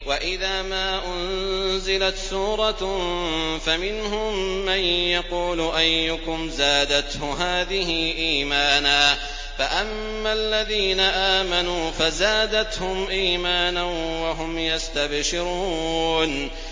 وَإِذَا مَا أُنزِلَتْ سُورَةٌ فَمِنْهُم مَّن يَقُولُ أَيُّكُمْ زَادَتْهُ هَٰذِهِ إِيمَانًا ۚ فَأَمَّا الَّذِينَ آمَنُوا فَزَادَتْهُمْ إِيمَانًا وَهُمْ يَسْتَبْشِرُونَ